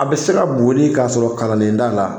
A bɛ se ka boli k'a sɔrɔ kalanden t'a la